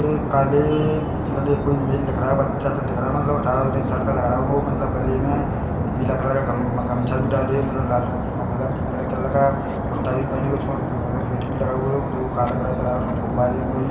ए काले माले कोई मेल दिख रहा है बच्चा- सा दिख रहा है मतलब अठारा- उन्नीस साल का लग रहा ओमल मलतब गले में पीला कलर का गम-गमछा भी डाले मतलब लालू-मतलब ब्लैक कलर का कुर्ता भी पहने उसमें मतलब गेटी भी लगा हुआ जो काला कलर कराए उसमें फुब्बारे भी कोई --